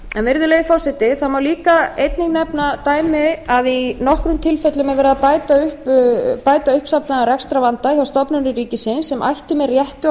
virðulegi forseti það má einnig nefna dæmi að í nokkrum tilfellum er verið að bæta uppsafnaðan rekstrarvanda hjá stofnunum ríkisins sem ættu með réttu að